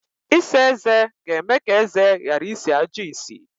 Ịsa eze ga-eme ka eze ghara isi ajọ isi.